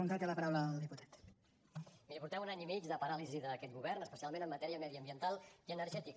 miri portem un any i mig de paràlisi d’aquest govern especialment en matèria mediambiental i energètica